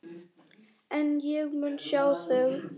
En ég mun sjá þig.